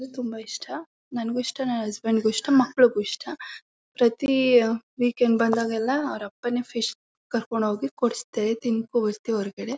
ಹ್ಮ್ ತುಂಬಾ ಇಷ್ಟ ನಂಗು ಇಷ್ಟ ನನ್ ಹಸ್ಬೆಂಡ್ ಗು ಇಷ್ಟ ಮಕ್ಳುಗೂ ಇಷ್ಟ ಪ್ರತಿ ವೀಕೆಂಡ್ ಬಂದಾಗೆಲ್ಲ ಅವರ್ ಅಪ್ಪಣೆ ಫಿಶ್ ಕರ್ಕೊಂಡ್ ಹೋಗಿ ಕೊಡಿಸ್ತಾರೆ ತಿನ್ಕೋ ಬರ್ತೀವಿ ಹೊರಗಡೆ